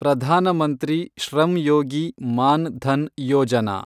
Pradhan Mantri Shram Yogi Maandhan Yojana